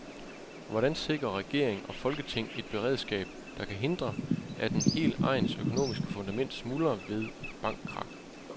Hvordan sikrer regering og folketing et beredskab, der kan hindre, at en hel egns økonomiske fundament smuldrer ved et bankkrak.